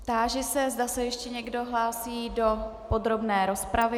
Táži se, zda se ještě někdo hlásí do podrobné rozpravy.